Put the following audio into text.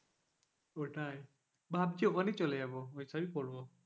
ওটাই ভাবছি ওখানে চলে যাবো ঐসব ই করব।